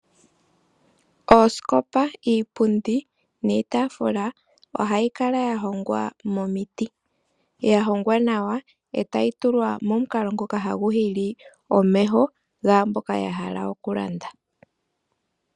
Oosikopa, iipundi niitafula ohayi kala yahongwa momiti, yahongwa nawa otayi tulwa momukalo ngoka haguhili omeho ngamboka yahala okulanda.